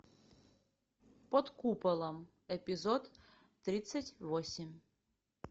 под куполом эпизод тридцать восемь